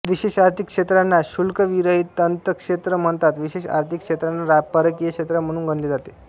विशेष आर्थिक क्षेत्रांना शुल्कविरहित अंतक्षेत्र म्हणतात विशेष आर्थिक क्षेत्रांना परकीय क्षेत्र म्हणून गणले जाते